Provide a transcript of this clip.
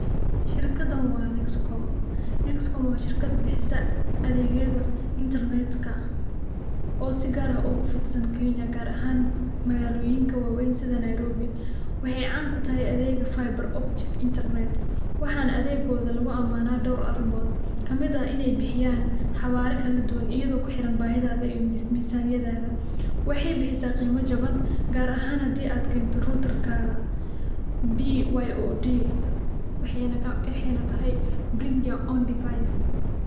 Shirkadan waa nexcom, nexcom waa shirkad bixisa adeegyada intarnetka oo si gar ah ogu fidsan Kenya gaar ahan Magaalooyinka waweyn sida Nairobi, waxay caan kutahay adeegga viber optic internet, waxana adeeggod lugu amaana dhowr arimod:kamid ah inay bixiyaan xawara kala duban iyago kuxiran bahidada iyo misaaniyadada, waxay bixisa qeymo jabab gaar ahan hadii ad keento rutarkada byod waxayna tahay bring your own device